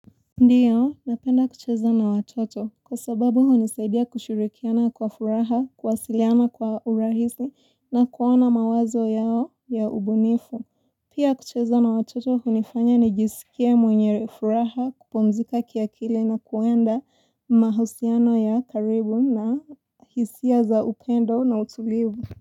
Ndiyo, napenda kucheza na watoto kwa sababu hunisaidia kushirikiana kwa furaha, kuwasiliana kwa urahisi na kuona mawazo yao ya ubunifu. Pia kucheza na watoto hunifanya nijisikia mwenye furaha, kupumzika kia kili na kuenda mahusiano ya karibu na hisia za ukendo na utulivu.